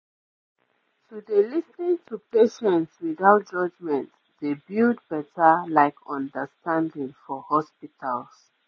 i mean some families fit wan pray or perform rituals before actually procedures